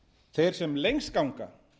þeir sem lengst ganga